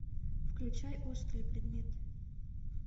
включай острые предметы